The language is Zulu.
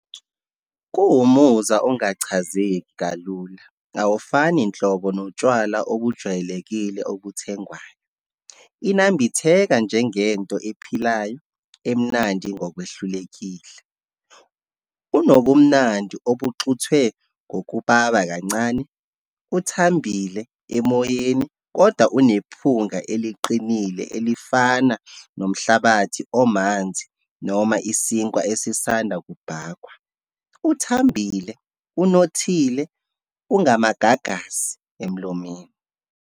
Kuwumuzwa ongachazeki kalula, awufani nhlobo notshwala obujwayelekile obuthengwayo. Inambitheka njengento ephilayo, emnandi ngokwehlulekile. Unobumnandi obuxuthwe ngokubaba kancane, uthambile emoyeni kodwa unephunga eliqinile, elifana nomhlabathi omanzi, noma isinkwa esisanda kubhakwa, uthambile, unothile, ungamagagasi emlomeni.